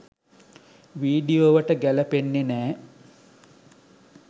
වීඩියෝවට ගැලපෙන්නෙ නෑ.